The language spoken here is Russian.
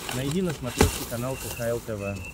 найди на смотрешке канал кхл тв